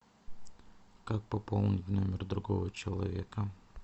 как пополнить номер другого человека